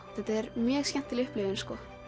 þetta er mjög skemmtileg upplifun það